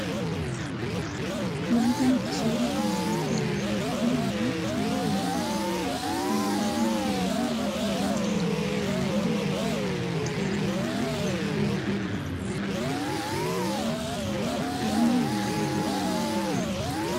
Wanti nuti suuraa kana irratti argaa jirru kun ammoo suuraa konkolaataati. Konkolaataan kun ammoo konkolaataa yeroo baayyee namoonni dhuunfaan itti fayyadamaniifi waajirri mootummaas itti fayyadamudha. Halluun konkolaataa kanaa maal fakkaata?